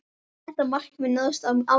Þetta markmið náðist á árinu.